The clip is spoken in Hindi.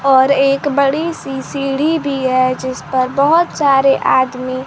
और एक बड़ी सी सीढ़ी भी है जिस पर बहोत सारे आदमी --